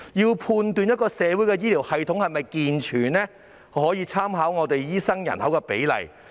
要判斷一個社會的醫療系統是否健全，可以參考醫生人口比例。